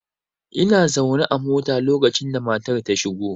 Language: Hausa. Ina zaune a mota lokacin da matar ta shigo.